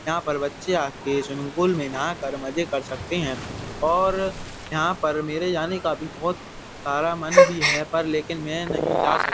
यहाँ पर बच्चे आके स्विमिंग पूल में नहाकर मजे कर सकते हैं और यहाँ पर मेरे जाने का भी बोहोत सारा मन भी है पर लेकिन मैं नहीं जा सक --